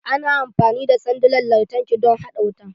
Ana amfani da sandunan lantarki don a haɗa wuta.